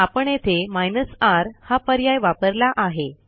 आपण येथे minus r हा पर्याय वापरला आहे